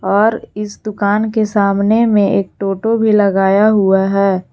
और इस दुकान के सामने में एक टोटो भी लगाया हुआ है।